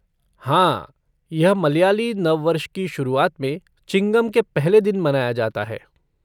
हाँ, यह मलयाली नव वर्ष की शुरुआत में, चिंगम के पहले दिन मनाया जाता है।